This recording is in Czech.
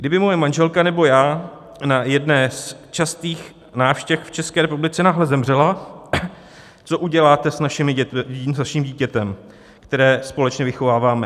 Kdyby moje manželka nebo já na jedné z častých návštěv v České republice náhle zemřela, co uděláte s naším dítětem, které společně vychováváme?